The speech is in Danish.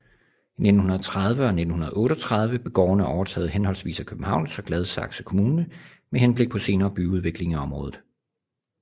I 1930 og 1938 blev gårdene overtaget henholdvis af Københavns og Gladsaxe Kommune med henblik på senere byudvikling i området